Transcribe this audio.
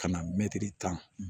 Ka na mɛtiri tan